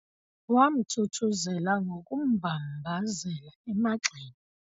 Wamthuthuzela ngokummbambazela emagxeni.